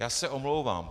Já se omlouvám.